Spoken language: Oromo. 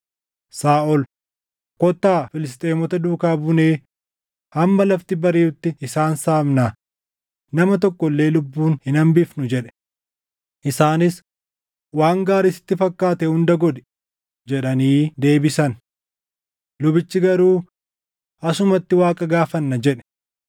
Saaʼol, “Kottaa Filisxeemota duukaa buunee hamma lafti bariʼutti isaan saamnaa; nama tokko illee lubbuun hin hambifnu” jedhe. Isaanis, “Waan gaarii sitti fakkaate hunda godhi” jedhanii deebisan. Lubichi garuu, “Asumatti Waaqa gaafanna” jedhe.